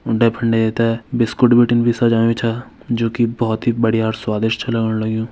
उंडे फुंडे ये ते बिस्कुट बिटिन भी सजायुं छ जु कि बहोत ही बढ़िया और स्वादिस्ट छ लगण लग्यूं।